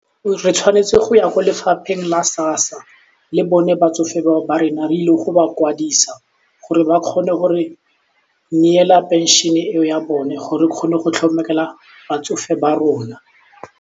Re tshwanetse go ya kwa lefapheng la SASSA le bone batsofe bao ba rena re ile go ba kwadisa gore ba kgone go re neela phenšene eo ya bone gore re kgone go tlhokomela batsofe ba rona.